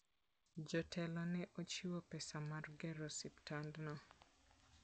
Jotelo ne ochiwo pesa mar gero osiptandno.